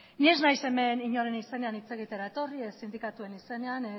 ni ez naiz hemen inoren izenean hitz egitera etorri ez sindikatuen izenean